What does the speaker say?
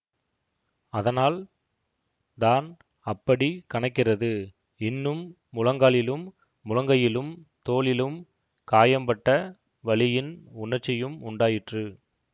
அதனால் தான் அப்படிக் கனக்கிறது இன்னும் முழங்காலிலும் முழங்கையிலும் தோளிலும் காயம் பட்ட வலியின் உணர்ச்சியும் உண்டாயிற்று